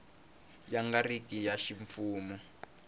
yi nga ri ya ximfumo